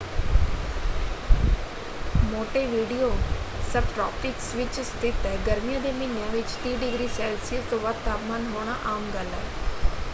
Montevideo subtropics ਵਿੱਚ ਸਥਿਤ ਹੈ; ਗਰਮੀਆਂ ਦੇ ਮਹੀਨਿਆਂ ਵਿੱਚ 30°c ਤੋਂ ਵੱਧ ਤਾਪਮਾਨ ਹੋਣਾ ਆਮ ਗੱਲ ਹੈ।